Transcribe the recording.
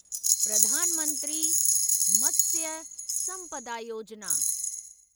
Pradhan Mantri Matsya Sampada Yojana